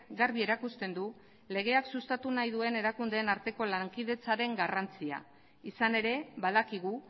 garbi erakusten du legeak sustatu nahi duen erakundeen arteko lankidetzaren garrantzia izan ere badakigu